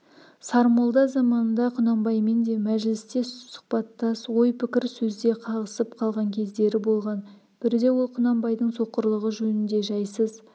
сармолда заманында құнанбаймен де мәжілістес сұхбаттас ой-пікір сөзде қағысып қалған кездері болған бірде ол құнанбайдың соқырлығы жөнінде жайсыз